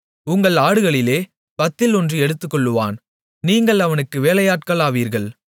உங்கள் ஆடுகளிலே பத்தில் ஒன்று எடுத்துக்கொள்ளுவான் நீங்கள் அவனுக்கு வேலையாட்களாவீர்கள்